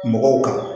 Mɔgɔw kan